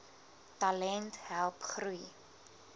talent help groei